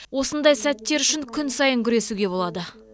осындай сәттер үшін күн сайын күресуге болады